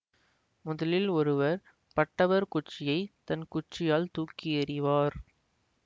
முதலில் ஒருவர் பட்டவர் குச்சியைத் தன் குச்சியால் தூக்கி எறிவார்